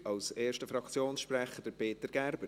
Als erster Fraktionssprecher: Peter Gerber.